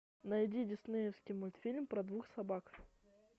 найди диснеевский мультфильм про двух собак